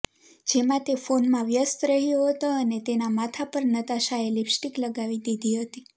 જેમાં તે ફોનમાં વ્યસ્ત રહ્યો હતો અને તેના માથા પર નતાશાએ લિપસ્ટીક લગાવી દીધી હતી